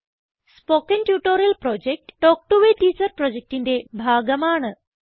spoken tutorial project talk to a teacher പ്രൊജക്റ്റിന്റെ ഭാഗമാണ്